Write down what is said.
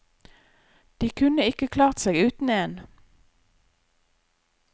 De kunne ikke klart seg uten én.